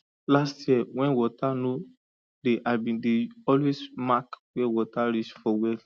last year when water no dey i been dey always mark where water reach for well